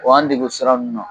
O y'an dege o sira ninnu na